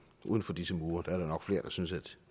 uden for disse mure er der nok flere der synes at